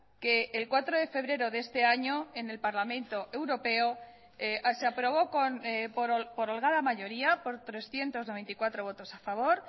que el cuatro de febrero de este año en el parlamento europeo se aprobó por holgada mayoría por trescientos noventa y cuatro votos a favor